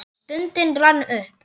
Stundin rann upp.